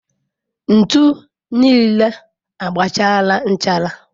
Ntu niile agbachaala nchara.